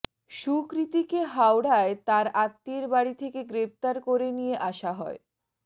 সুকৃতিকে হাওড়ায় তাঁর আত্মীয়ের বাড়ি থেকে গ্রেফতার করে নিয়ে আসা হয়